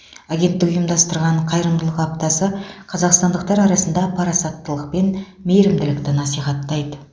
агенттік ұйымдастырған қайырымдылық аптасы қазақстандықтар арасында парасаттылық пен мейірімділікті насихаттайды